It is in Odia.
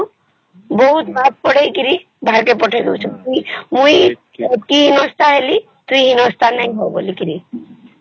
ବାହାରକୁ ପଠେଇଦେଉଛନ ମୁଇ ଏତେ ହିନସ୍ଥା ହେଲି ତୁଇ ଏତେ ହିନସ୍ଥା ନାଇଁ ହଁ ବଳିକିରି